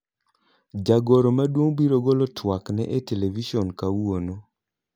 Jagoro maduong' biro golo twakne e televison kawuono.